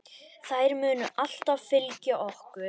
Þær munu alltaf fylgja okkur.